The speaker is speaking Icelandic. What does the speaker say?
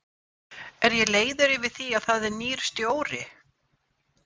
Er ég leiður yfir því að það er nýr stjóri?